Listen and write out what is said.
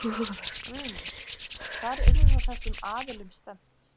Guðný: Hvar yrði þá þessum aðilum stefnt?